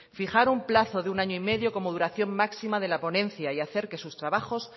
fijar un plazo de año y medio como duración máxima de la ponencia y hacer que sus trabajos